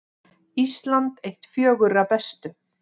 Ísland eitt fjögurra bestu